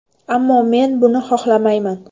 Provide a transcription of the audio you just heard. Ammo men buni xohlamayman.